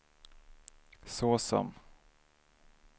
såsom